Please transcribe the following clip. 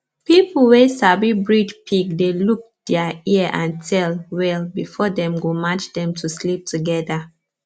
people wey sabi breed pig dey look dia ear and tail well before dem go match dem to sleep togeda